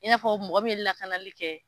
I n'a fɔ mɔgɔ min ye lakanali kɛ